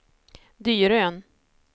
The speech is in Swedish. Dyrön